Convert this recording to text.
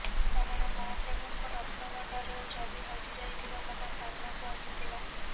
କାରଣ ମହାପ୍ରଭୁଙ୍କ ରତ୍ନଭଣ୍ଡାରର ଚାବି ହଜି ଯାଇଥିବା କଥା ସାମ୍ନାକୁ ଆସିଥିଲା